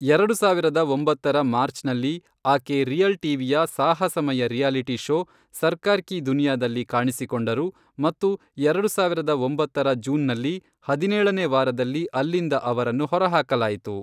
ಎರಡು ಸಾವಿರದ ಒಂಬತ್ತರ ಮಾರ್ಚ್ನಲ್ಲಿ, ಆಕೆ ರಿಯಲ್ ಟಿ.ವಿ.ಯ ಸಾಹಸಮಯ ರಿಯಾಲಿಟಿ ಷೋ, ಸರ್ಕಾರ್ ಕಿ ದುನಿಯಾದಲ್ಲಿ ಕಾಣಿಸಿಕೊಂಡರು ಮತ್ತು ಎರಡು ಸಾವಿರದ ಒಂಬತ್ತರ ಜೂನ್ನಲ್ಲಿ ಹದಿನೇಳನೇ ವಾರದಲ್ಲಿ ಅಲ್ಲಿಂದ ಅವರನ್ನು ಹೊರಹಾಕಲಾಯಿತು.